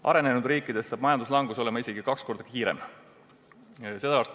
Arenenud riikides saab majanduslangus olema isegi kaks korda kiirem.